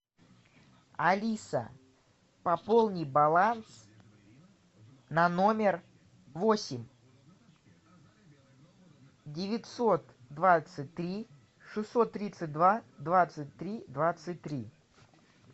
алиса пополни баланс на номер восемь девятьсот двадцать три шестьсот тридцать два двадцать три двадцать три